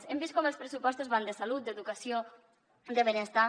hem vist com els pressupostos van de salut d’educació de benestar